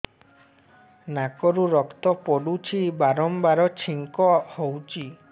ନାକରୁ ରକ୍ତ ପଡୁଛି ବାରମ୍ବାର ଛିଙ୍କ ହଉଚି